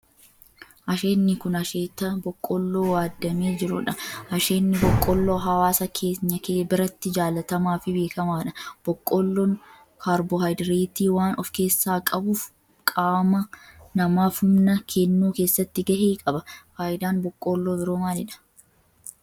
Asheenni kun asheeta boqqoolloo waaddamee jirudha. Asheenni boqqoolloo hawaasa keenya biratti jaalatamaa fi beekamaadha. Boqqoolloon kaarboohayidireetii waan of keessaa qabuf qaama namaaf humna kennuu keessatti gahee qaba. Faayidaan boqqoolloo biroo maalidha?